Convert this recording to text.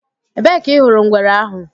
Ebee ka ị hụrụ ngwere ahụ?